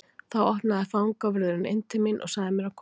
Þá opnaði fangavörðurinn inn til mín og sagði mér að koma fram.